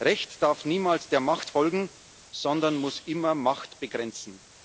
Recht darf niemals der Macht folgen, sondern muss immer Macht begrenzen.